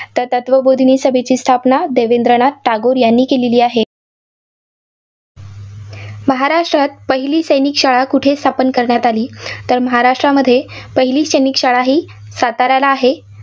तर तत्वबोधीनी सभेची स्थापना देवेंद्रनाथ टागोर यांनी केली आहे. महाराष्ट्रात पहिली सैनिक शाळा कुठे स्थापन करण्यात आली. तर महाराष्ट्रामध्ये पहिली सैनिक शाळा ही साताऱ्याला आहे.